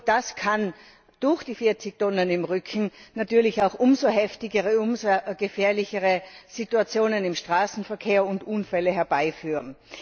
Das kann durch die 40 Tonnen im Rücken natürlich auch umso heftigere, umso gefährlichere Situationen im Straßenverkehr und Unfälle herbeiführen.